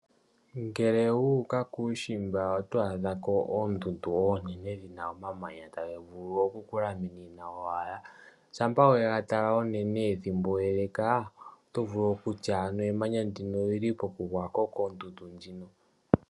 Ngele wuuka kuushimba oto adha ko oondundu oonene ndhina omamanya taga vulu oku ku laminina owala. Shampa wega tala unene ethimbo eleka oto vulu okutya ano emanya ndino olyi li po ku gwako koondundu ndjino?